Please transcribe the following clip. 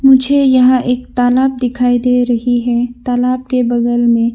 मुझे यहा एक तालाब दिखाई दे रही है तालाब के बगल मे--